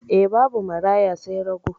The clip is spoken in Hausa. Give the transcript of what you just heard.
E, babu maraya sai rago.